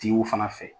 Tigiw fana fɛ